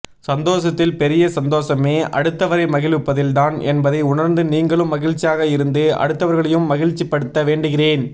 சந்தோசத்தில் பெரிய சந்தோசமே அடுத்தவரை மகிழ்விப்பதில் தான் என்பதை உணர்ந்து நீங்களும் மகிழ்ச்சியாக இருந்து அடுத்தவர்களையும் மகிழ்ச்சி படுத்த வேண்டுகிறேன்